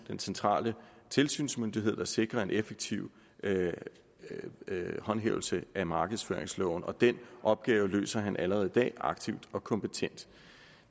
den centrale tilsynsmyndighed sikrer en effektiv håndhævelse af markedsføringsloven og den opgave løses allerede i dag aktivt og kompetent